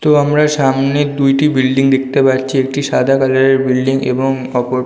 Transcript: তো আমরা সামনে দুইটি বিল্ডিং দেখতে পাচ্ছি একটি সাদা কালারের বিল্ডিং এবং অপর--